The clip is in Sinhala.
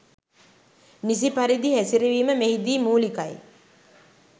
නිසි පරිදි හැසිරවීම මෙහිදී මූලිකයි